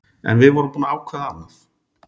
En við vorum búin að ákveða annað.